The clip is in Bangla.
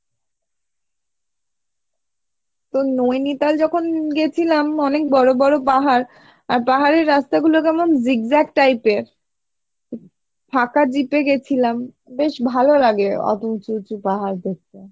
তো নৈনিতাল যখন গেছিলাম অনেক বড়ো বড়ো পাহাড় আর পাহাড়ের রাস্তা গুলো কেমন zigzag type এর ফাঁকা jeep এ গেছিলাম বেশ ভালো লাগে অত উচুঁ উচুঁ পাহাড় দেখতে